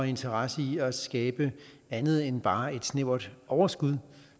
interesse i at skabe andet end bare et snævert overskud